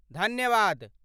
धन्यवाद।